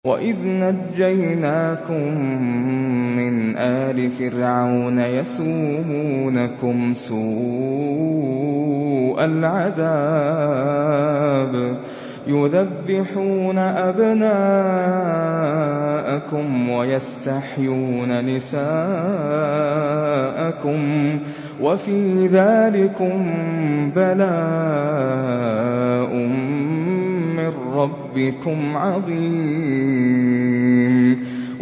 وَإِذْ نَجَّيْنَاكُم مِّنْ آلِ فِرْعَوْنَ يَسُومُونَكُمْ سُوءَ الْعَذَابِ يُذَبِّحُونَ أَبْنَاءَكُمْ وَيَسْتَحْيُونَ نِسَاءَكُمْ ۚ وَفِي ذَٰلِكُم بَلَاءٌ مِّن رَّبِّكُمْ عَظِيمٌ